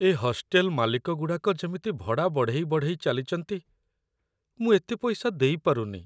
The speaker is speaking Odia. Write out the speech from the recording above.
ଏ ହଷ୍ଟେଲ୍ ମାଲିକଗୁଡ଼ାକ ଯେମିତି ଭଡ଼ା ବଢ଼େଇ ବଢ଼େଇ ଚାଲିଚନ୍ତି, ମୁଁ ଏତେ ପଇସା ଦେଇପାରୁନି ।